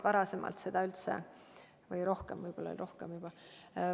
Või on neid aastaid rohkem, võib-olla on tõesti juba rohkem.